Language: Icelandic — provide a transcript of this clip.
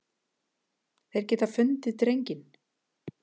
Þeir geta fundið drenginn.